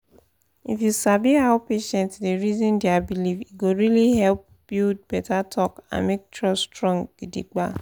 if you sabi how patient dey reason their belief e go really help build better talk and make trust strong gidigba.